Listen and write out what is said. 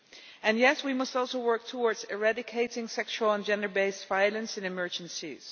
And yes, we must also work towards eradicating sexual and gender based violence and emergencies.